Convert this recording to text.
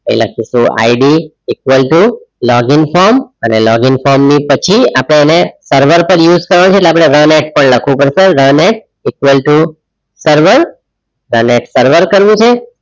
અહીં લખીશું IDequal to login form અને login form ની પછી આપણે એને server પર use કરવાનું છે. એટલે આપણે વન X પણ લખવું પડશે one x equal to server અને server કરવું છે.